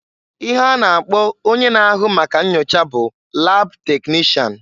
Ihe a na-akpọ onye n'ahụ maka nnyocha bụ lab teknishan.